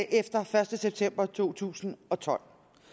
efter første september to tusind og tolv